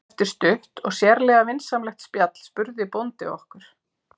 Eftir stutt og sérlega vinsamlegt spjall spurði bóndi okkur